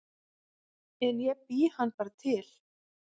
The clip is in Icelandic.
En ég bý hann bara til